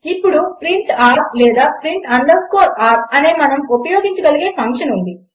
ఇప్పుడు print r లేదా print underscore r అనే మనం ఉపయోగించగలిగే ఫంక్షన్ ఉంది